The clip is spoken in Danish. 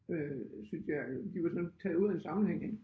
Øh synes jeg øh de var sådan taget ud af en sammenhæng ik